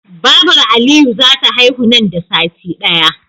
Babar aliyu zata haihu nan da sati daya